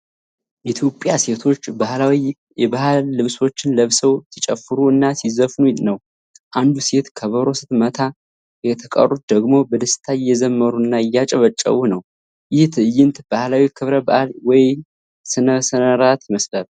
የኢትዮጵያ ሴቶች ባህላዊ የባህል ልብሶችን ለብሰው ሲጨፍሩ እና ሲዘፍኑ ነው። አንዷ ሴት ከበሮ ስትመታ፣ የተቀሩት ደግሞ በደስታ እየዘመሩና እያጨበጨቡ ነው። ይህ ትዕይንት ባህላዊ ክብረ በዓል ወይም ሥነ ሥርዓት ነው።